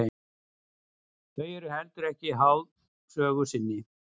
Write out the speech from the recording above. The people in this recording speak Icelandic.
Þau eru heldur ekki háð sögu sinni.